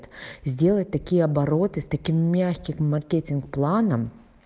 сделать такие обороты с таким мягким маркетинг планом